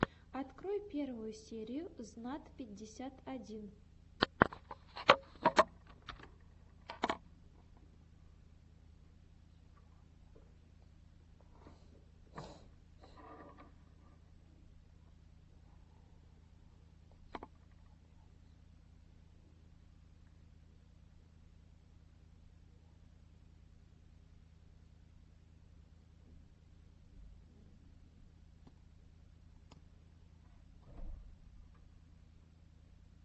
открой первую серию знат пятьдесят один